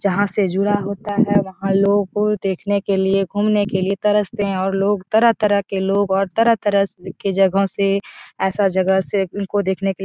जहाँ से जुड़ा होता है वहाँ लोग को देखने के लिए घूमने के लिए तरसते है और लोग तरह-तरह के लोग और तरह-तरह स के जगहों से ऐसा जगह से उनको देखने के --